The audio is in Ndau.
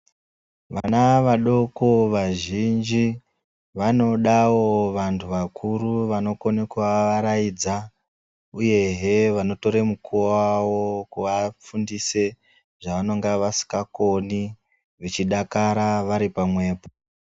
Vana vadoko vazhinji Vanodawo vantu vakuru vanokona kuvavaraidza uye he vanotora mukuwo wavo Kuvafundisa zvavanenge vasingakoni vachidakara vari pamwepo.